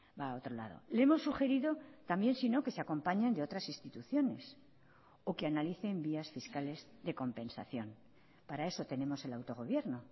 va a otro lado le hemos sugerido también sino que se acompañen de otras instituciones o que analicen vías fiscales de compensación para eso tenemos el autogobierno